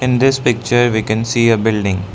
In this picture we can see a building.